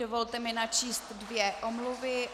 Dovolte mi načíst dvě omluvy.